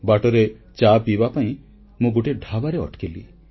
ବାଟରେ ଚା ପିଇବା ପାଇଁ ମୁଁ ଗୋଟିଏ ଢାବାରେ ଅଟକିଲି